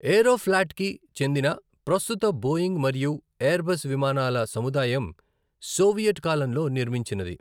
ఏరోఫ్లాట్కి చెందిన ప్రస్తుత బోయింగ్ మరియు ఎయిర్బస్ విమానాల సముదాయం సోవియట్ కాలంలో నిర్మించినది.